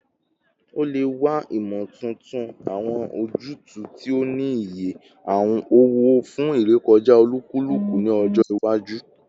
O le wa imotuntun, awọn ojutu ti o ni iye owo fun irekọja olukuluku ni ọjọ iwaju